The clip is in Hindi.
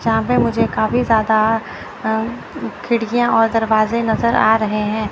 सामने मुझे काफी ज्यादा अह खिड़कियां और दरवाजे नजर आ रहे हैं।